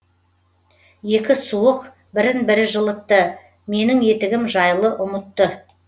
екі суық бірін бірі жылытты менің етігім жайлы ұмытты